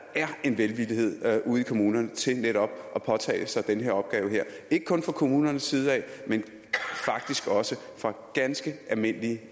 er en velvillighed ude i kommunerne til netop at påtage sig den opgave her ikke kun fra kommunernes side men faktisk også fra ganske almindelige